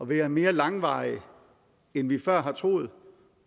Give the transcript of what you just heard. være mere langvarig end vi før har troet